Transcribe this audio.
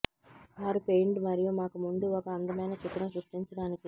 వారు పెయింట్ మరియు మాకు ముందు ఒక అందమైన చిత్రం సృష్టించడానికి